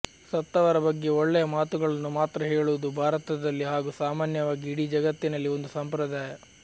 ಸತ್ತವರ ಬಗ್ಗೆ ಒಳ್ಳೆಯ ಮಾತುಗಳನ್ನು ಮಾತ್ರ ಹೇಳುವುದು ಭಾರತದಲ್ಲಿ ಹಾಗೂ ಸಾಮಾನ್ಯವಾಗಿ ಇಡೀ ಜಗತ್ತಿನಲ್ಲಿ ಒಂದು ಸಂಪ್ರದಾಯ